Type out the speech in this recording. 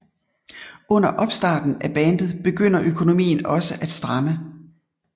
Under opstarten af bandet begynder økonomien også at stramme